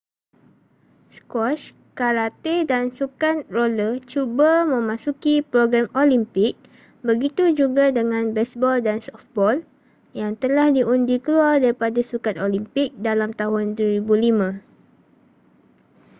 skuasy karate dan sukan roller cuba memasuki program olimpik begitu juga dengan besbol dan sofbol yang telah diundi keluar daripada sukan olimpik dalam tahun 2005